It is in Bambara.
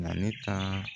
Na ne ka